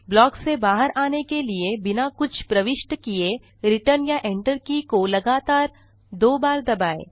block से बाहर आने के लिए बिना कुछ प्रविष्ट किए रिटर्न या enter की को लगातार दो बार दबाएँ